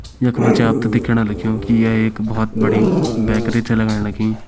यख मजे आपते दिखेणा लग्युं की ये एक बोहोत बड़ी बैकरि च लगण लखीं।